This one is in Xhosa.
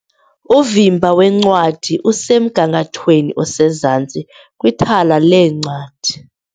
Uvimba weencwadi usemgangathweni osezantsi kwithala leencwadi.